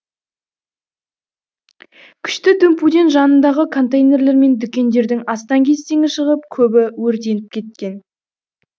күшті дүмпуден жанындағы контейнерлер мен дүкендердің астаң кестеңі шығып көбі өртеніп кеткен